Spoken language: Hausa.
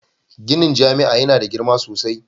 Ginin jami'a yana da girma sosai